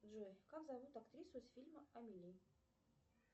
джой как зовут актрису с фильма амели